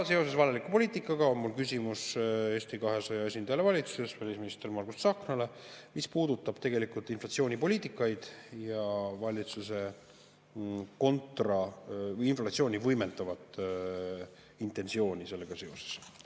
Seoses vajaliku poliitikaga on mul Eesti 200 esindajale valitsuses, välisminister Margus Tsahknale küsimus, mis puudutab inflatsioonipoliitikat ja valitsuse inflatsiooni võimendavat intentsiooni sellega seoses.